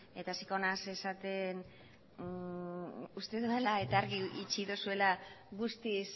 eta hasiko naiz esaten uste dudala eta argi utzi duzuela guztiz